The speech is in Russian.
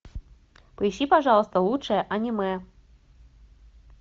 поищи пожалуйста лучшее аниме